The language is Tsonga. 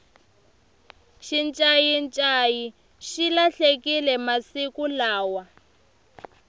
xincayincayi xi lahlekile masiku lawa